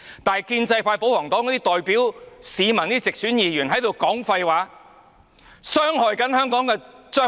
但是，建制派保皇黨那些代表市民的直選議員，則不應說廢話傷害香港的將來。